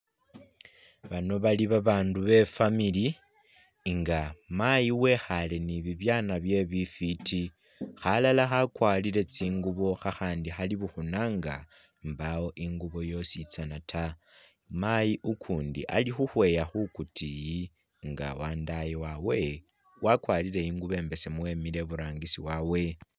Bano bali babaandu be'family nga mayi wekhale ni'bibyana bye bifiti, khalala khakwarile tsingubo khakhandi Khali bukhuna nga mbawo ingubo yosi tsana taa mayi ukundi Ali khukhweya khukutiyi nga wandaye wawe wakwarile ingubo imbesemu wemile iburangisi wawe